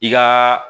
I ka